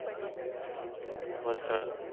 Vastral.